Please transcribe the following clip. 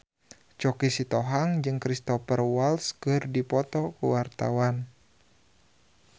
Choky Sitohang jeung Cristhoper Waltz keur dipoto ku wartawan